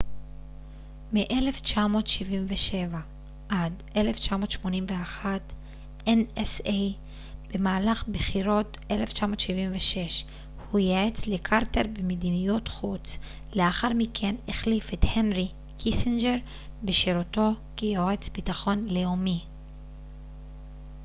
במהלך בחירות 1976 הוא ייעץ לקרטר במדיניות חוץ לאחר מכן החליף את הנרי קיסינג'ר בשירותו כיועץ ביטחון לאומי nsa מ1977 עד 1981